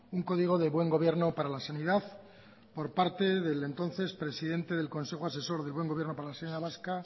un código de buen gobierno para la sanidad por parte del entonces presidente del consejo asesor del buen gobierno para la sanidad vasca